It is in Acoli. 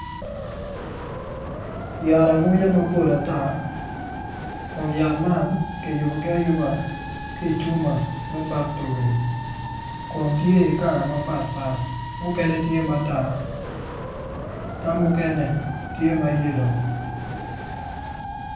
Yat amwonya mapol ata kun yat man kiyubogi ayuba ki i cuma me faktori kun tye i kala mapatpat mukene tye ma tar ka mukene tye ma yelo.